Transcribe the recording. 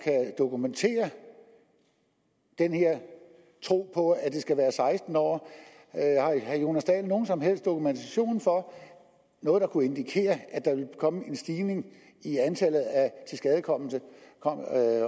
dokumentere den her tro på at det skal være seksten år har herre jonas dahl nogen som helst dokumentation for noget der kunne indikere at der ville komme en stigning i antallet af tilskadekomne